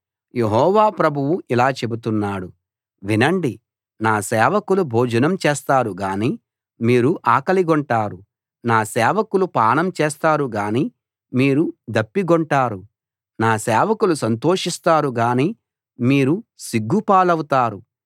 యెహోవా ప్రభువు ఇలా చెబుతున్నాడు వినండి నా సేవకులు భోజనం చేస్తారు గానీ మీరు ఆకలిగొంటారు నా సేవకులు పానం చేస్తారు గానీ మీరు దప్పిగొంటారు నా సేవకులు సంతోషిస్తారు గానీ మీరు సిగ్గుపాలవుతారు